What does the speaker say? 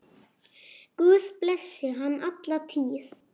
Guð blessi hann alla tíð.